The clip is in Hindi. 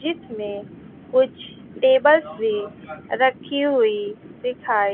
जिसमें कुछ टेबल्स भी रखी हुई दिखाई--